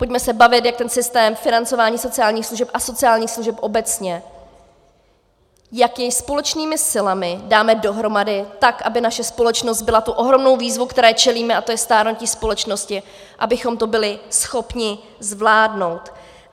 Pojďme se bavit, jak ten systém financování sociálních služeb a sociálních služeb obecně, jak jej společnými silami dáme dohromady tak, aby naše společnost byla tu ohromnou výzvu, které čelíme, a to je stárnutí společnosti, abychom to byli schopni zvládnout.